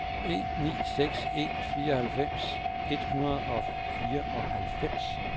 en ni seks en fireoghalvfems et hundrede og fireoghalvfems